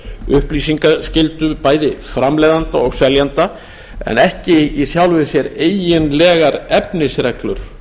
upplýsingaskyldu bæði framleiðanda og seljanda en ekki í sjálfu sér eiginlegar efnisreglur